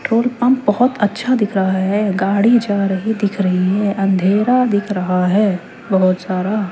petrol pump बहोत अच्छा दिख रहा है गाड़ी जा रही दिख रही है अंधेरा दिख रहा है बहोत सारा--